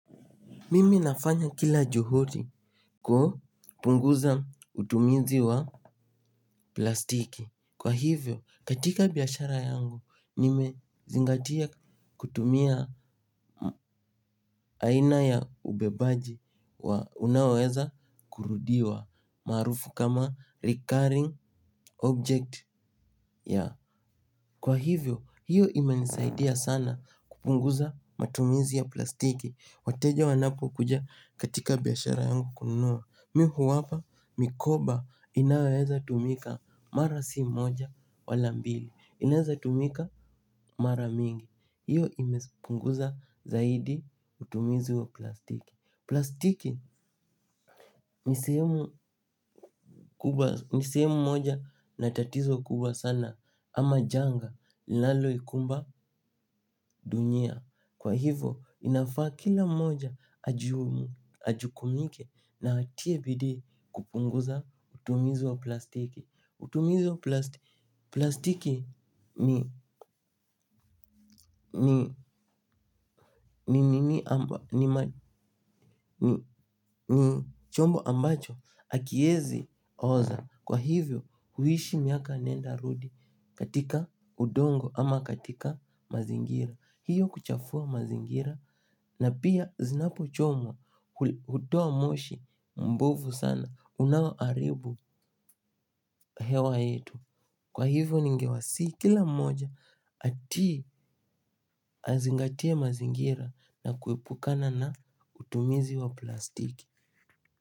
Mimi nafanya kila juhudi kupunguza utumizi wa plastiki. Kwa hivyo, katika biashara yangu, nimezingatia kutumia aina ya ubebaji wa unaoweza kurudiwa maarufu kama recurring object, ya. Kwa hivyo, hiyo imenisaidia sana kupunguza matumizi ya plastiki. Wateja wanapokuja katika biashara yangu kununua. Mi huwapa mikoba inayoweza tumika mara si moja wala mbili, inaweza tumika mara mingi. Hiyo imepunguza zaidi utumizi wa plastiki. Plastiki ni sehemu moja na tatizo kubwa sana ama janga linaloikumba dunia. Kwa hivyo inafaa kila mmoja ajukumike na atie bidii kupunguza utumizu wa plastiki. Utumizu wa plastiki ni chombo ambacho hakiezi oza. Kwa hivyo huishi miaka nenda rudi katika udongo ama katika mazingira. Hiyo kuchafua mazingira na pia zinapochomwa hutoa moshi mbovu sana unaoharibu hewa yetu. Kwa hivyo ningewasihi kila moja atii, azingatie mazingira na kuepukana na utumizi wa plastiki.